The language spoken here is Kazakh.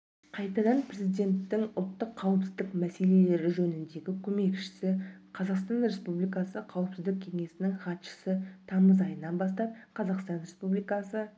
қайтадан президенттің ұлттық қауіпсіздік мәселелері жөніндегі көмекшісі қазақстан республикасы қауіпсіздік кеңесінің хатшысы тамызайынан бастап қазақстан республикасы